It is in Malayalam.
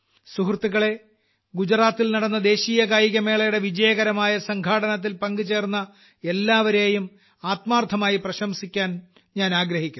സുഹൃത്തുക്കളെ ഗുജറാത്തിൽ നടന്ന ദേശീയ കായികമേളയുടെ വിജയകരമായ സംഘാടനത്തിൽ പങ്കുചേർന്ന എല്ലാവരേയും ആത്മാർത്ഥമായി പ്രശംസിക്കാൻ ഞാൻ ആഗ്രഹിക്കുന്നു